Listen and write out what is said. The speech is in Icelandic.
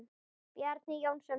Bjarni Jónsson þýddi.